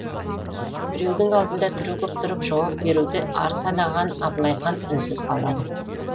біреудің алдында түрегеп тұрып жауап беруді ар санаған абылай хан үнсіз қалады